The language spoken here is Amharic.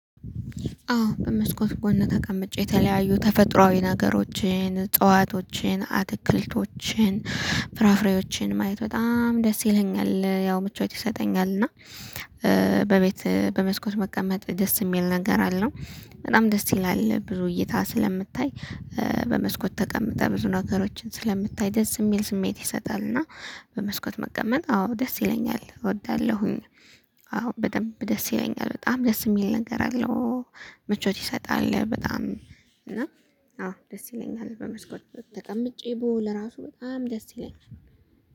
አዎ በመስኮት ጎን ተቀምጬ የተለያዩ ተፈጥሮአዊ ነገሮችን እፅዋቶችን አትክልቶችን ፍራፍሬዎችን ማየት በጣም ደስ ይለኛል ያው ምቾት ይሰጠኛል። እና በቤት በመስኮት መቀመጥ ደስ የሚል ነገር አለው። በጣም ደስ ይላል ብዙ እይታ ስለምታይ በመስኮት ተቀምጠህ ብዙ ነገሮችን ስለምታይ ደስ የሚል ስሜት ይሰጣል። እና በመስኮት መቀመጥ አዎ ደስ ይለኛል እወዳለሁኝ። አዎ በደንብ ደስ ይለኛል በጣም ደስ የሚል ነገር አለው። ምቾት ይሰጣል በጣም እና አዎ ደስ ይለኛል። በመስኮት ተቀምጬ ብውል እራሱ በጣም ደስ ይለኛል።